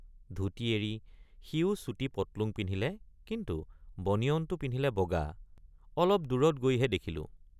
ধুতি এৰি সিয়ো চুটি পট্‌লুং পিন্ধিলে কিন্তু বনিয়নটো পিন্ধিলে বগা অলপ দূৰৈত গৈহে দেখিলোঁ।